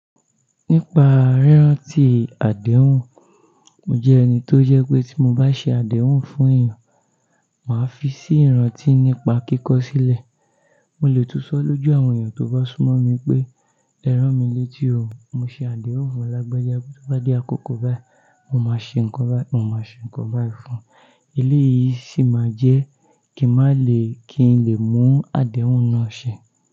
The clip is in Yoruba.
Nípa ríráǹtì àdéhùn, mo jẹ́ ẹni tó jẹ́ pé tí mo bá ṣe àdéhùn fún èèyàn, màá fi sí ìráǹtí nípa kíkọ sílẹ̀. Mo lè túnsọ́ lójú àwọn èèyàn tó bá súnmọ́ mi pé "Ẹ rán mi létí o, mo ṣe àdéhùn fún lágbaja." Tí ó bá dé àkókò báyìí, mo máa ṣe nǹkan báyìí fún un. Ilé yìí sì máa jẹ́ kíi má lè kí n lè mú àdéhùn náà ṣe.